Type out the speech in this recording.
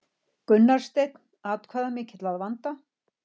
Gunnar Steinn atkvæðamikill að vanda